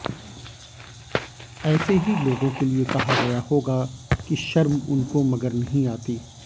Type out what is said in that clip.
ऐसे ही लोगों के लिए कहा गया होगा कि शर्म उनको मगर नहीं आती